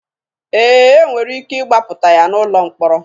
Ee, e nwere ike ịgbapụta ya n'ụlọ mkpọrọ.